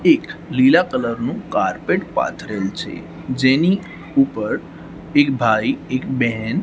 એક લીલા કલર નું કારપેટ પાથરેલું છે જેની ઉપર એક ભાઈ એક બેન--